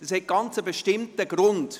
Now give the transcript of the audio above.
Dies hat einen bestimmten Grund: